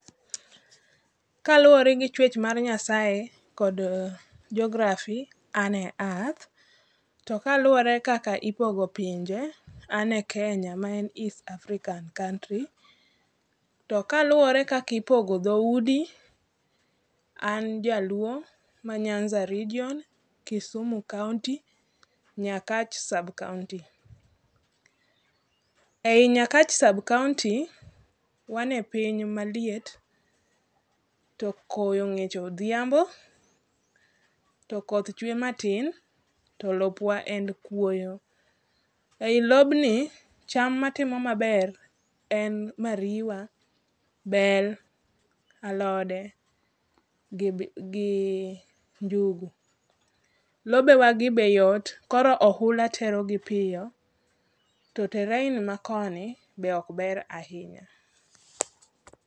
Kaluwore gi chwech mar Nyasaye kod Geography, ane Earth. To kaluwore kaka ipogo pinje, ane Kenya maen East African country. To kaluwore kakipogo dhoudi, an jaluo ma Nyanza region, Kisumu kaonti, Nyakach sub-county. Ei Nyakach sub-county, wane piny maliet, to koyo ng'ich odhiambo to koth chwe matin to lopwa en kuoyo. Ei lobni, cham matimo maber, en mariwa, bel, alode gi njugu. Lobewagi be yot, koro ohula terogi piyo to terrain ma koni be okber ahinya.